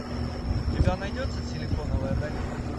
у тебя найдется силиконовая долина